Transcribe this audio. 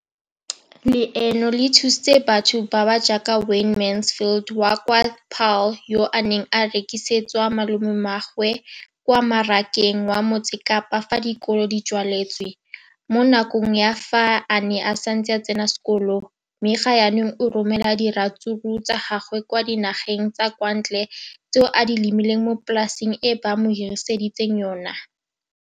leno le thusitse batho ba ba jaaka Wayne Mansfield, 33, wa kwa Paarl, yo a neng a rekisetsa malomagwe kwa Marakeng wa Motsekapa fa dikolo di tswaletse, mo nakong ya fa a ne a santse a tsena sekolo, mme ga jaanong o romela diratsuru tsa gagwe kwa dinageng tsa kwa ntle tseo a di lemileng mo polaseng eo ba mo hiriseditseng yona.